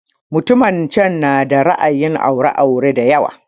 Mutumin can na da ra'ayin aure aure da yawa